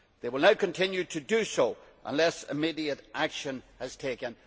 They will now continue to do so unless immediate action is taken.